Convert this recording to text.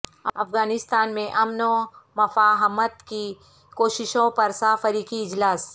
افغانستان میں امن و مفاہمت کی کوششوں پر سہ فریقی اجلاس